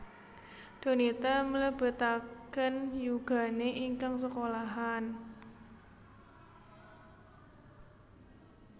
Donita mlebetaken yugane ingkang sekolahan